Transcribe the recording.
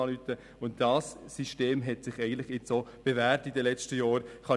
Dieses System hat sich in den letzten Jahren bewährt.